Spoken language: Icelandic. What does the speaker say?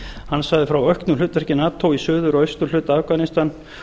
hann sagði frá auknu hlutverki nato í suður og austurhluta afganistan